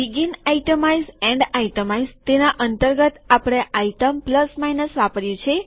શરૂઆતનું આઈટમાઈઝ છેવટનું આઈટમાઈઝ તેના અંતર્ગત આપણે વસ્તુ વત્તા ઓછા આઈટમ પ્લસ માઈનસ વાપર્યું છે